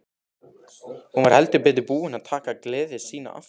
Hún var heldur betur búin að taka gleði sína aftur.